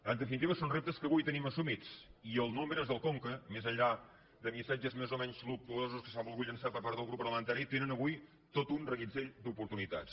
en definitiva són reptes que avui tenim assumits i els nous membres del conca més enllà de missatges més o menys luctuosos que s’han volgut llançar per part del grup parlamentari tenen avui tot un reguitzell d’oportunitats